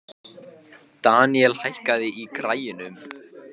Deníel, hækkaðu í græjunum.